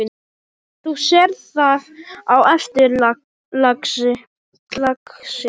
Þú sérð það á eftir, lagsi.